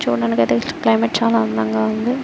చూడడానికైతే climate చాల అందంగా ఉంది.